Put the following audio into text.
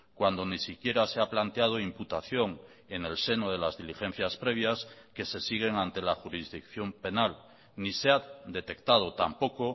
cuando ni siquiera se ha planteado imputación en el seno de las diligencias previas que se siguen ante la jurisdicción penal ni se ha detectado tampoco